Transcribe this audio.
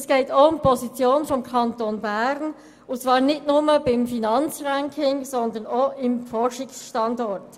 Es geht zudem um die Position des Kantons Bern, und zwar nicht nur beim Finanzranking, sondern auch als Forschungsstandort.